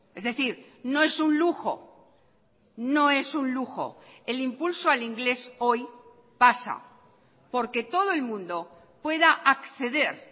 es decir no es un lujo no es un lujo el impulso al inglés hoy pasa porque todo el mundo pueda acceder